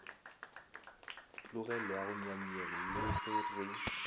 tlogelwago nyanyeng le ge re